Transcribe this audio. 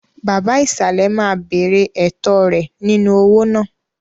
Baba ìsàlẹ̀ máa béèrè ẹ̀tọ́ rẹ̀ nínú owó náà.